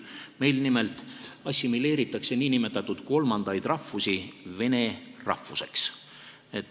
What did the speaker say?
Meil nimelt assimileeritakse nn kolmandaid rahvusi vene rahvuseks.